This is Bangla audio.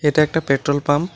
এইটা একটা পেট্রোল পাম্প ।